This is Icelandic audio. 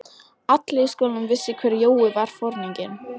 Allir í skólanum vissu hver Jói var, foringinn.